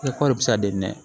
kɔɔri bɛ se ka di nɛ